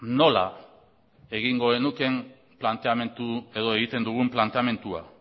nola egingo genukeen planteamendu edo egiten dugun planteamendua